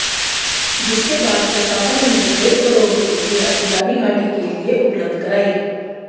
जिसके बाद प्रशासन ने डेढ़ करोड़ रुपए की राशि रानीघाटी के लिए उपलब्ध कराई